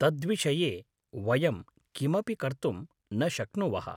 तद्विषये वयं किमपि कर्तुं न शक्नॊवः।